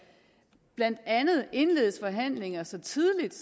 indledes forhandlinger så tidligt